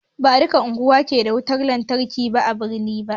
Ba duka unguwani ke da wutan lantarki a birni ba